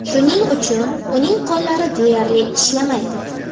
Shuning uchun uning qo‘llari deyarli ishlamaydi.